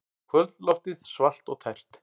Kvöldloftið svalt og tært.